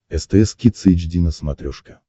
стс кидс эйч ди на смотрешке